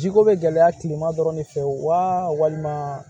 Jiko bɛ gɛlɛya tilema dɔrɔn de fɛ walima